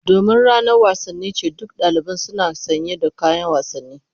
Domin ranar wasanni ce, duk daliban suna sanye da kayan wasanni.